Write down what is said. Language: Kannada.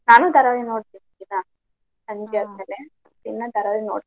ನಾನು ಧಾರಾವಾಹಿ ನೋಡ್ತೇನಿ ದಿನಾ ಹೊತ್ನಲ್ಲಿ ದಿನಾ ಧಾರಾವಾಹಿ ನೋಡ್ತೀನಿ.